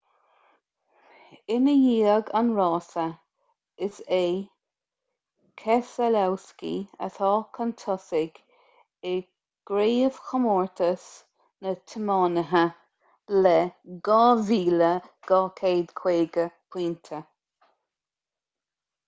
i ndiaidh an rása is é keselowski atá chun tosaigh i gcraobhchomórtas na dtiománaithe le 2,250 pointe